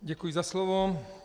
Děkuji za slovo.